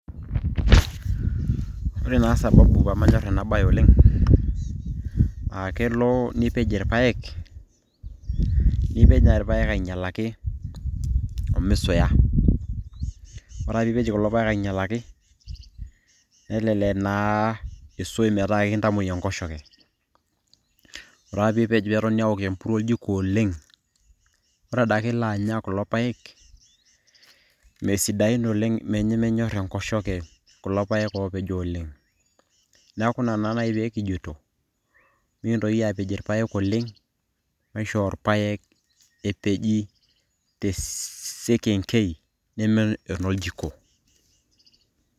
Ore naa sababu pamanyor ena bae oleng',akelo nipej irpaek, nipej nai irpaek ainyalaki omisuya. Ore ake piipej kulo paek ainyalaki, nelelek naa iisui metaa ekintamoi enkoshoke. Ore ake pipej petoni aokoo empuruo oljiko oleng',ore adake ilo anya kulo paek, mesidain oleng nemenyor enkoshoke kulo paek opejo oleng'. Neeku ina na nai pekijito, mikintoki apej irpaek oleng',maishoo irpaek epeji tessekenkei neme enoljiko.